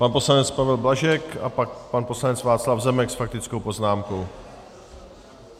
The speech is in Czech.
Pan poslanec Pavel Blažek a pak pan poslanec Václav Zemek s faktickou poznámkou.